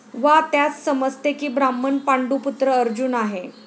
वा त्यास समजते की ब्राह्मण पांडूपुत्र अर्जुन आहे.